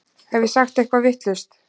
Hef ég sagt eitthvað vitlaust?